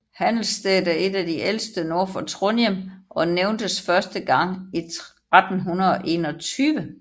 Handelsstedet er et af de ældste nord for Trondheim og nævntes første gang i 1321